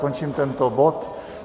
Končím tento bod.